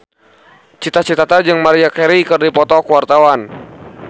Cita Citata jeung Maria Carey keur dipoto ku wartawan